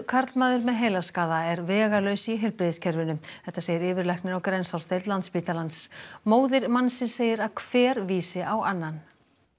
karlmaður með heilaskaða er vegalaus í heilbrigðiskerfinu þetta segir yfirlæknir á Grensásdeild Landspítalans móðir mannsins segir að hver vísi á annan